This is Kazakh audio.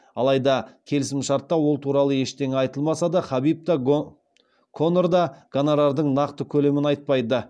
алайда келісімшартта ол туралы ештеңе айтылмаса да хабиб та конор да гонорардың нақты көлемін айтпайды